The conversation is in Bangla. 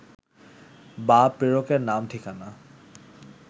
বা প্রেরকের নাম-ঠিকানা